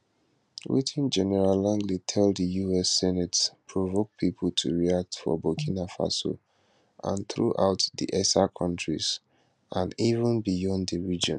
wetin general langley tell di us senate provoke pipo to react for burkina faso and throughout di esa kontris and even beyond di region